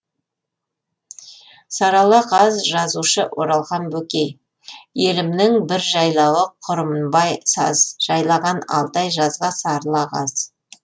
сарыала қаз жазушы оралхан бөкей елімнің бір жайлауы құрымбай саз жайлаған алты ай жазға сарыла қаз